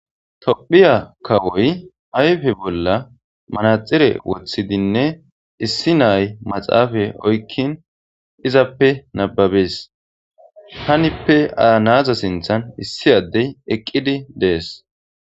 Tophphiya kawoy ayiffe bollan maraxinne woththidinne issi na'ay maxaffe oyikini izzappe nababes hanippe na'aza sinththan eqqidi de'es.